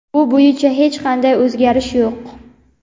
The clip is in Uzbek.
Bu bo‘yicha hech qanday o‘zgarish yo‘q.